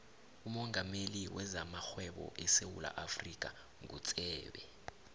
umongameli wezamarhwebo esewula afrika ngutsebe